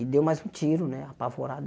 E deu mais um tiro, né, apavorado.